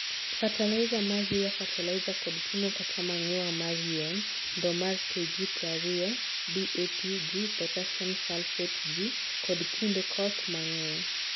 Fertilizer mar Year Fertilizer kod pimo kata Manure mar yien( ndoo mar KG prariyo) DAP(g) Potassium Sulphate (g) kod kinde koth mangeny.